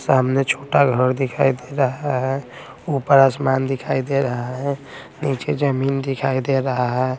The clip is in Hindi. सामने छोटा घर दिखाई दे रहा है ऊपर आसमान दिखाई दे रहा है नीचे जमीन दिखाई दे रहा--